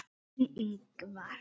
Þinn, Ingvar.